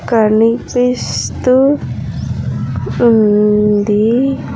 కనిపిస్తూ ఉంది.